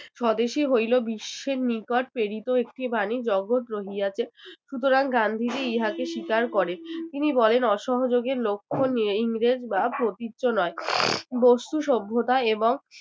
স্বদেশী হইলো বিশ্বের নিকট প্রেরিত একটি বাণী জগৎ রহিয়াছে সুতরাং গান্ধীজী ইহাকে স্বীকার করে তিনি বলেন অসহযোগের লক্ষণ নিয়ে ইংরেজ বা বস্তু সভ্যতা এবং